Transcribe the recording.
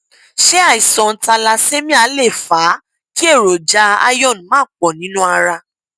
ṣé àìsàn thalessemia lè fa kí èròjà iron má pọ nínú ara